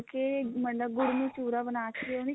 ਮਤਲਬ ਗੁੜ ਨੂੰ ਚੁਰਾ ਬਣਾਕੇ